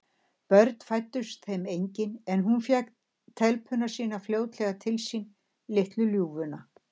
Börn fæddust þeim engin, en hún fékk telpuna sína fljótlega til sín, litlu ljúfuna.